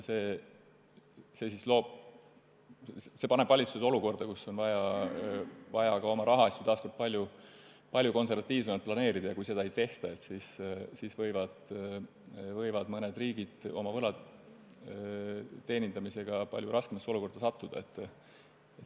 See paneb valitsused olukorda, kus on vaja oma rahaasju taas palju konservatiivsemalt planeerida, ja kui seda ei tehta, siis võivad mõned riigid võla teenindamisega raskesse olukorda sattuda.